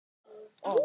Taka við?